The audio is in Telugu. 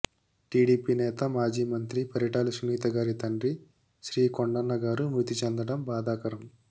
టీడీపీ నేత మాజీ మంత్రి పరిటాల సునీత గారి తండ్రి శ్రీ కొండన్న గారు మృతి చెందటం బాధాకరం